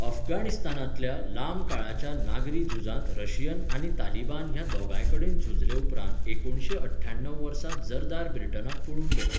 अफगाणिस्तानांतल्या लांब काळाच्या नागरी झुजांत रशियन आनी तालिबान ह्या दोगांय कडेन झुजले उपरांत एकुणसे अठ्ठ्याणव वर्सा झरदाद ब्रिटनाक पळून गेलो.